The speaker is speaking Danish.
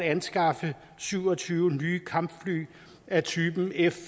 anskaffe syv og tyve nye kampfly af typen f